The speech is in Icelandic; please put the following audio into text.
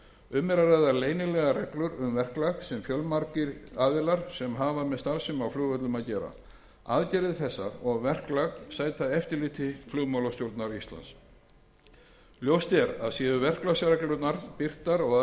um er að ræða leynilegar reglur um verklag sem fjölmargir aðilar sem hafa með starfsemi á flugvöllum að gera aðgerðir þessar og verklag sæta eftirliti flugmálastjórnar íslands ljóst er að séu verklagsreglurnar birtar og